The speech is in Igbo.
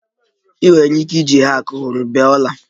Ị nwere ike iji a hack hụrụ bee ọla